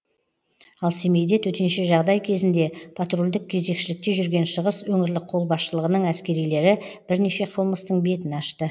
ал семейде төтенше жағдай кезінде патрульдік кезекшілікте жүрген шығыс өңірлік қолбасшылығының әскерилері бірнеше қылмыстың бетін ашты